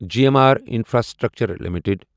G M R infrastructure limited